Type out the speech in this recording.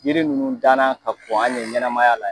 Yiri nunnu dan na ka kɔn hali ɲɛnamaya la